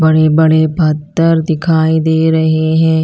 बड़े बड़े पत्थर दिखाई दे रहे हैं।